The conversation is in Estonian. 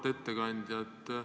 Auväärt ettekandja!